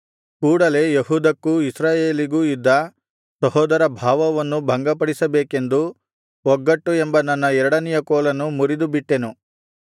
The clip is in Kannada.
ಕೂಡಲೆ ಯೆಹೂದಕ್ಕೂ ಇಸ್ರಾಯೇಲಿಗೂ ಇದ್ದ ಸಹೋದರಭಾವವನ್ನು ಭಂಗಪಡಿಸಬೇಕೆಂದು ಒಗ್ಗಟ್ಟು ಎಂಬ ನನ್ನ ಎರಡನೆಯ ಕೋಲನ್ನು ಮುರಿದುಬಿಟ್ಟೆನು